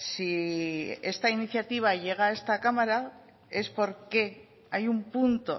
si esta iniciativa llega a esta cámara es porque hay un punto